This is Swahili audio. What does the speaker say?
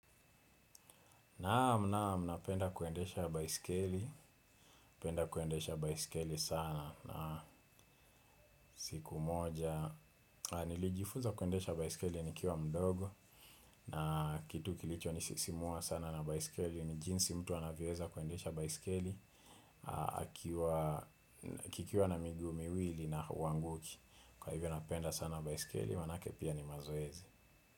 Naam! Nam! Napenda kuendesha baiskeli, napenda kuendesha baiskeli sana, na siku moja, nilijifuza kuendesha baiskeli nikiwa mdogo, na kitu kilichonisisimua sana na baiskeli, ni jinsi mtu anavyoeza kuendesha baiskeli, kikiwa na miguu miwili na huanguki, kwa hivyo napenda sana baiskeli, manake pia ni mazoezi.